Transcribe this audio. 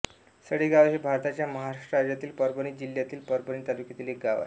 सडेगाव हे भारताच्या महाराष्ट्र राज्यातील परभणी जिल्ह्यातील परभणी तालुक्यातील एक गाव आहे